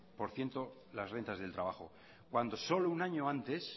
por ciento las rentas del trabajo cuando solo un año antes